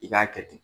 I k'a kɛ ten